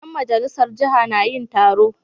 Ƴan majalisar jiha na yin taro.